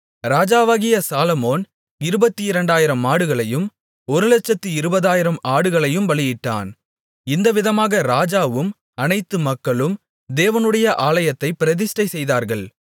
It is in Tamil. ராஜாவாகிய சாலொமோன் 22000 மாடுகளையும் 120000 ஆடுகளையும் பலியிட்டான் இந்தவிதமாக ராஜாவும் அனைத்து மக்களும் தேவனுடைய ஆலயத்தைப் பிரதிஷ்டை செய்தார்கள்